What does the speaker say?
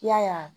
I y'a ye